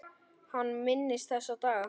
Hann minnist þessa dags.